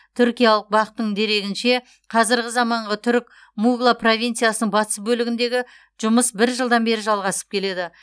түркиялық бақ тың дерегінше қазіргі заманғы түрік мугла провинциясының батыс бөлігіндегі жұмыс бір жылдан бері жалғасып келеді